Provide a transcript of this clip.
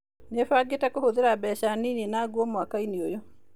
Nĩ bangĩte kũhũthĩra mbeca nini na nguo mwaka-inĩ ũyũ.